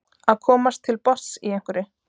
Að komast til botns í einhverju